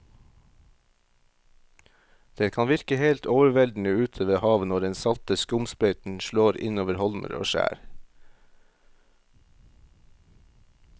Det kan virke helt overveldende ute ved havet når den salte skumsprøyten slår innover holmer og skjær.